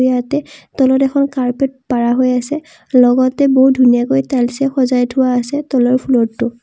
ইয়াতে তলত এখন কাৰ্পেট পাৰা হৈ আছে লগতে বহুত ধুনীয়াকৈ টাইলছে সজাই থোৱা আছে তলৰ ফ্ল'ৰটো।